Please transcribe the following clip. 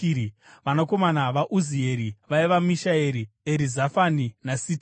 Vanakomana vaUzieri vaiva Mishaeri, Erizafani naSitiri.